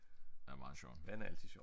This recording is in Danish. Er meget sjovt